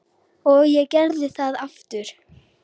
Og ég gerði það aftur.